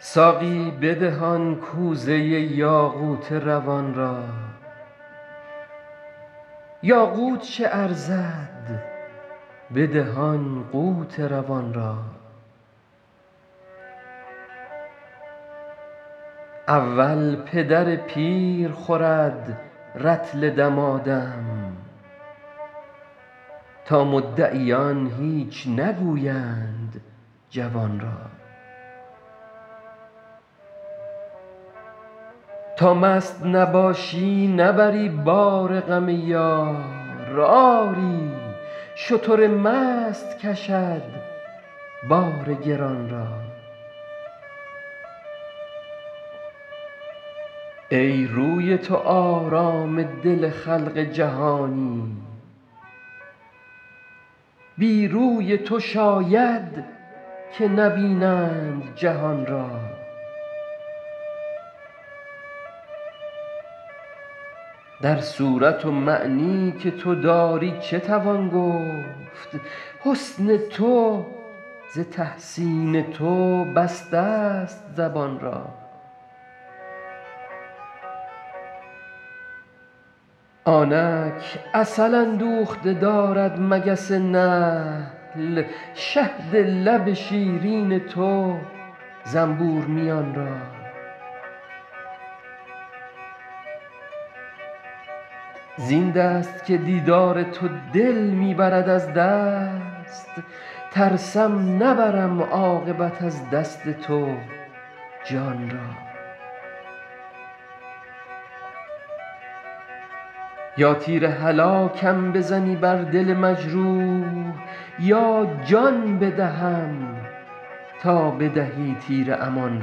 ساقی بده آن کوزه یاقوت روان را یاقوت چه ارزد بده آن قوت روان را اول پدر پیر خورد رطل دمادم تا مدعیان هیچ نگویند جوان را تا مست نباشی نبری بار غم یار آری شتر مست کشد بار گران را ای روی تو آرام دل خلق جهانی بی روی تو شاید که نبینند جهان را در صورت و معنی که تو داری چه توان گفت حسن تو ز تحسین تو بستست زبان را آنک عسل اندوخته دارد مگس نحل شهد لب شیرین تو زنبور میان را زین دست که دیدار تو دل می برد از دست ترسم نبرم عاقبت از دست تو جان را یا تیر هلاکم بزنی بر دل مجروح یا جان بدهم تا بدهی تیر امان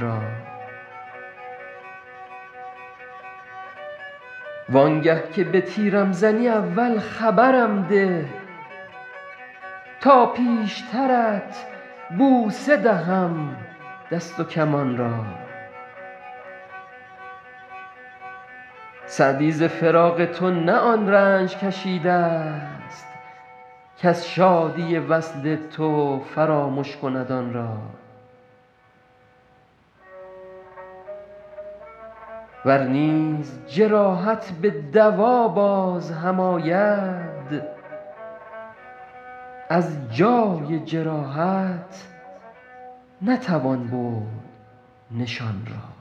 را وان گه که به تیرم زنی اول خبرم ده تا پیشترت بوسه دهم دست و کمان را سعدی ز فراق تو نه آن رنج کشیدست کز شادی وصل تو فرامش کند آن را ور نیز جراحت به دوا باز هم آید از جای جراحت نتوان برد نشان را